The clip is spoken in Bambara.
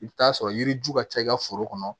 I bɛ t'a sɔrɔ yiri ju ka ca i ka foro kɔnɔ